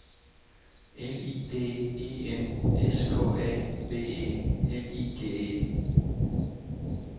L I D E N S K A B E L I G E